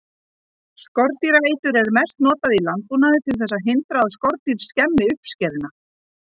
Skordýraeitur er mest notað í landbúnaði til þess að hindra að skordýr skemmi uppskeruna.